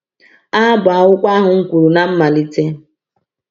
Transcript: A bụ akwụkwọ ahụ m kwuru na mmalite.